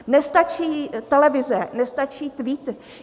Nestačí televize, nestačí tweet.